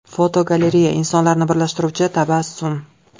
Fotogalereya: Insonlarni birlashtiruvchi tabassum.